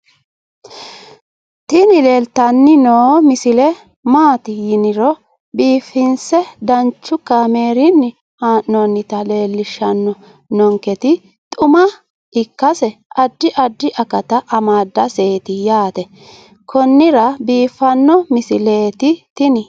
tini leeltanni noo misile maaati yiniro biifinse danchu kaamerinni haa'noonnita leellishshanni nonketi xuma ikkase addi addi akata amadaseeti yaate konnira biiffanno misileeti tini